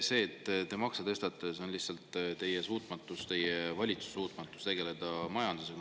See, et te makse tõstate, lihtsalt teie suutmatust, teie valitsuse suutmatust tegeleda majandusega.